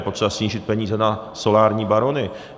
Je potřeba snížit peníze na solární barony.